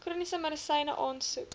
chroniese medisyne aansoek